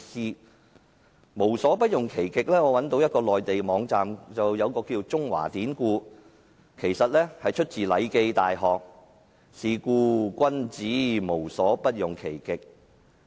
就"無所不用其極"這成語，我找到一個名為"中華典故"的內地網站，得知這是出自《禮記.大學》："是故君子無所不用其極"。